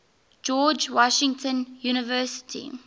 george washington university